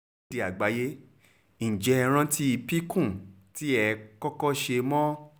akéde àgbáyé ǹjẹ́ ẹ rántí píkún tẹ́ ẹ kọ́kọ́ ṣe mọ́